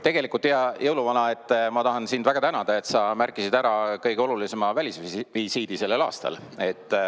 Tegelikult, hea jõuluvana, ma tahan sind väga tänada, et sa märkisid ära kõige olulisema välisvisiidi sellel aastal.